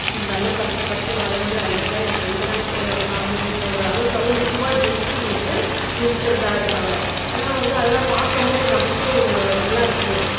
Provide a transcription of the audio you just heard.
இந்த அளவுவுக்கு கஷ்டப்பட்டு வளர்ந்து அன்னைக்கா என் ஃப்ரண்டு தான் கூட இருந்தான் அப்படின்னு சொல்ற அளவுக்கு அது முக்கியமாக ஜென்ட்ஸ்ங்களுக்கு இருக்கிறதா இருக்காங்க ஆனா வந்து அதெல்லாம் பார்க்கும்போது நமக்கே ஒரு நல்லா இருக்கு